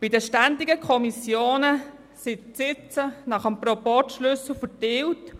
Bei den ständigen Kommissionen sind die Sitze nach dem Proporzschlüssel verteilt.